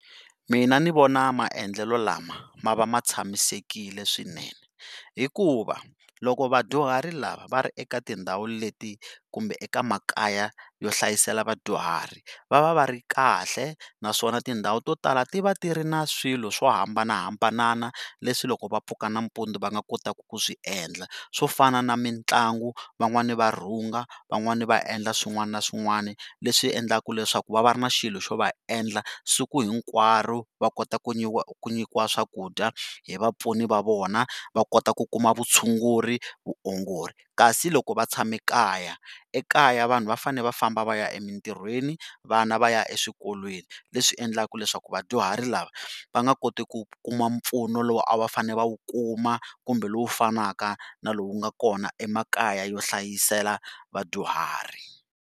Mina ni vona maendlelo lama ma va ma tshamisekile swinene hikuva loko vadyuhari lava va ri eka tindhawu leti kumbe eka makaya yo hlayisela vadyuhari va va va ri kahle naswona tindhawu to tala ti va ti ri na swilo swo hambanahambana leswi loko va pfuka nanampundzu va nga kotaka ku swi endla swo fana na mitlangu, van'wani va rhunga, van'wani va endla swin'wana na swin'wana leswi endlaka leswaku va va ri na xilo xo va endla siku hinkwaro va kota ku ku nyikiwa swakudya hi vapfuni va vona va kota ku kuma vutshunguri, vuongori kasi loko va tshame ekaya ekaya vanhu va fane va famba va ya emintirhweni vana va ya eswikolweni leswi endlaka leswaku vadyuhari lava va nga koti ku kuma mpfuno lowu a va fane va wu kuma kumbe lowu fanaka na lowu nga kona emakaya yo hlayisela vadyuhari.